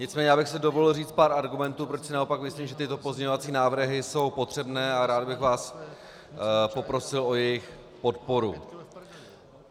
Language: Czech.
Nicméně já bych si dovolil říct pár argumentů, proč si naopak myslím, že tyto pozměňovací návrh jsou potřebné, a rád bych vás poprosil o jejich podporu.